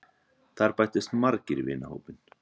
Þar bættust margir í vinahópinn.